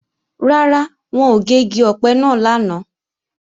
Rárá, wọn ò gé igi ọ̀pẹ náà lánàá